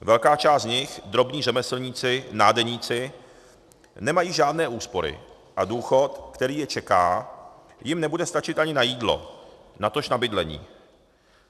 Velká část z nich - drobní řemeslníci, nádeníci - nemají žádné úspory a důchod, který je čeká, jim nebude stačit ani na jídlo, natož na bydlení.